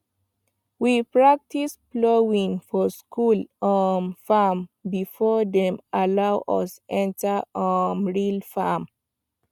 we practice plowing for school um farm before dem allow us enter um real farm